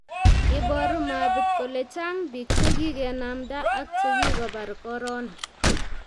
Iboru mapit kole chang' biik che kikenamda ak che kikobar Corona